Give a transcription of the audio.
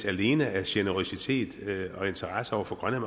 alene af generøsitet og interesse over for grønland